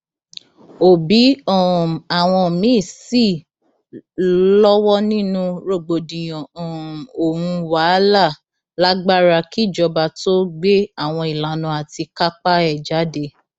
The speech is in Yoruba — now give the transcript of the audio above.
òbí um àwọn míín sì lọwọ nínú rògbòdìyàn um ohun wàhálà lágbára kíjọba tóó gbé àwọn ìlànà àti kápá ẹ jáde